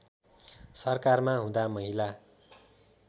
सरकारमा हुँदा महिला